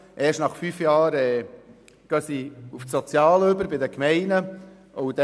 Erst nach fünf Jahren gehen sie zu den Sozialdiensten bei den Gemeinden über.